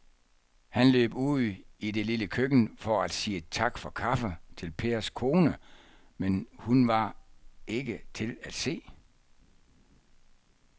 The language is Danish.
Han løb ud i det lille køkken for at sige tak for kaffe til Pers kone, men hun var ikke til at se.